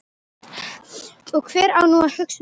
Og hver á nú að hugsa um Stínu.